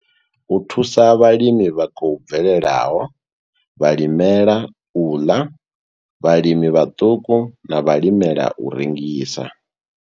U thusa vhalimi vha khou bvelelaho, vhalimela u ḽa, vhalimi vhaṱuku na vhalimela u rengisa.